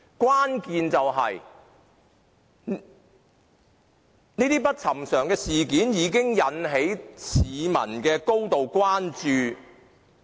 關鍵在於這些不尋常事件已經引起市民高度關注。